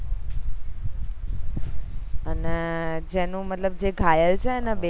અને જેનું મતલબ જે ઘાયલ છે ને બે